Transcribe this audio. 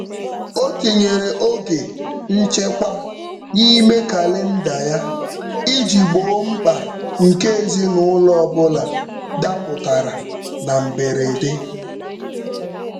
O tinyere oge nchekwa n'ime kalịnda ya iji gboo mkpa nke ezinụụlọ ọbụla dapụtara na mberede.